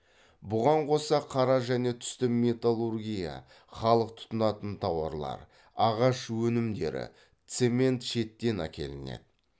бұған қоса қара және түсті металлургия халық тұтынатын тауарлар ағаш өнімдері цемент шеттен әкелінеді